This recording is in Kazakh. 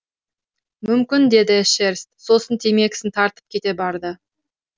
мүмкін деді эшерст сосын темекісін тартып кете барды